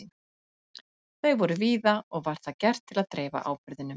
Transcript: Þau voru víða og var það gert til að dreifa áburðinum.